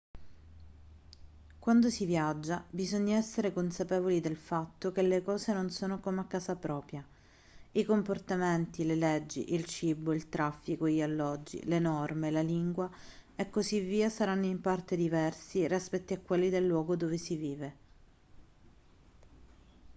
quando si viaggia bisogna essere consapevoli del fatto che le cose non sono come a casa propria i comportamenti le leggi il cibo il traffico gli alloggi le norme la lingua e così via saranno in parte diversi rispetto a quelli del luogo dove si vive